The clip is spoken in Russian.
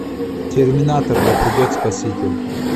терминатор да придет спаситель